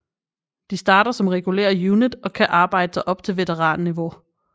De starter som regular unit og kan arbejde sig op til veteranniveau